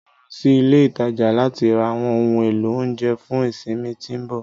Mo lọ sí ilé ìtajà láti ra àwọn ohun èlò oúnjẹ fún ìsinmi tí ń bọ̀.